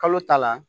Kalo ta la